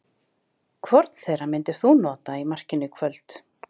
Hvorn þeirra myndir þú nota í markinu í kvöld?